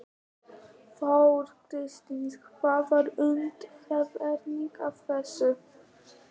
Þóra Kristín: Hver var undanfarinn að þessu?